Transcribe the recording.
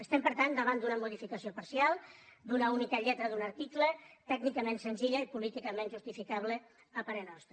estem per tant davant d’una modificació parcial d’una única lletra d’un article tècnicament senzilla i políticament justificable a parer nostre